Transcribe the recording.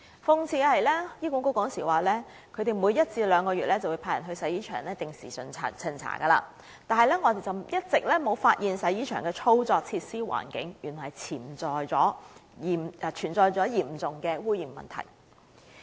諷刺的是，醫管局當時表示每一至兩個月便會派人到洗衣場定時巡查，但竟一直沒有發現洗衣場的操作、設施、環境原來存在嚴重污染問題。